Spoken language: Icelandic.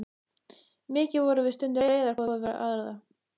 Mikið vorum við stundum reiðar hvor við aðra.